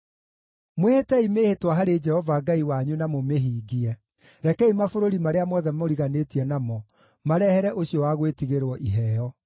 Mwĩhĩtei mĩĩhĩtwa harĩ Jehova Ngai wanyu na mũmĩhingie; rekei mabũrũri marĩa mothe mũriganĩtie namo marehere ũcio wa gwĩtigĩrwo iheo.